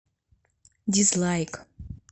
дизлайк